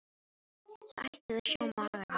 Þú ættir að sjá magann á mér.